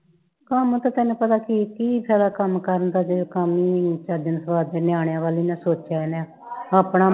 ਕੰਮ ਤੇ ਚੱਲ ਭਲਾ ਕੀ ਕੀ ਫਾਇਆ ਕੰਮ ਕਰਨ ਦਾ ਜਦੋਂ ਕੰਮ ਹੀ ਨਹੀਂ ਚੱਜ ਸਵਾਦ ਦੇ ਨਿਆਣਿਆਂ ਵੱਲ ਨਹੀਂ ਸੋਚਿਆ ਇਹਨੇ ਆਪਣਾ ਮੂੰਹ ਹੀ